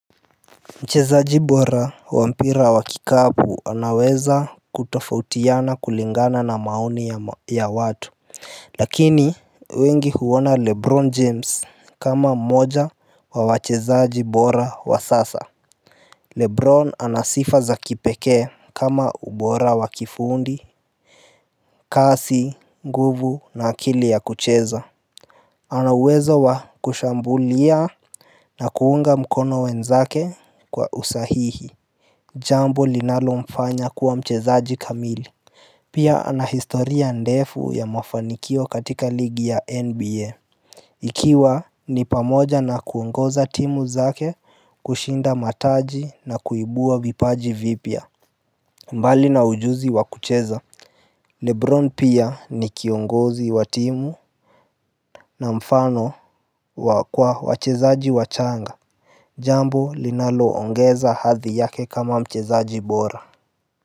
Mchezaji bora wa mpira wa kikapu anaweza kutofautiana kulingana na maoni ya watu. Lakini wengi huona Lebron James kama mmoja wa wachezaji bora wa sasa Lebron ana sifa za kipekee kama ubora wa kifundi. Kasi, nguvu na akili ya kucheza ana uwezo wa kushambulia na kuunga mkono wenzake kwa usahihi. Jambo linalomfanya kuwa mchezaji kamili. Pia ana historia ndefu ya mafanikio katika ligi ya NBA. Ikiwa ni pamoja na kuongoza timu zake kushinda mataji na kuibua vipaji vipya mbali na ujuzi wa kucheza Lebron pia ni kiongozi wa timu na mfano kwa wachezaji wachanga. Jambo linaloongeza hadhi yake kama mchezaji bora.